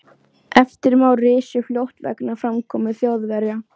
VATNSBERI: Sá er ekki að súta það.